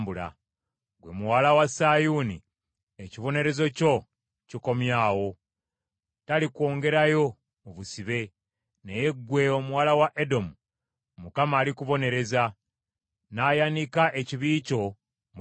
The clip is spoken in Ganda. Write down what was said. Ggwe Muwala wa Sayuuni, ekibonerezo kyo kikomye awo, talikwongerayo mu busibe. Naye ggwe omuwala wa Edomu, Mukama alikubonereza, n’ayanika ekibi kyo mu lujjudde.